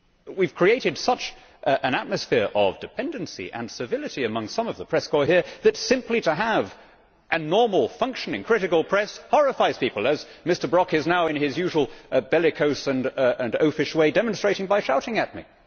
We have created such an atmosphere of dependency and civility among some of the press corps here that simply to have a normal functioning critical press horrifies people, as Mr Brok is now, in his usual bellicose and oafish way, demonstrating by shouting at me.